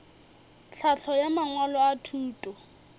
tlhahlo ya mangwalo a thuto